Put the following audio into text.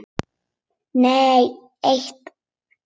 Nei eitt.